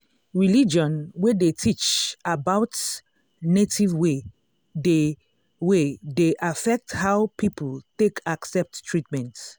religion wey dey teach about native way dey way dey affect how people take accept treatment.